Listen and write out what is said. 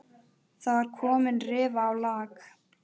Það var komin rifa á lak.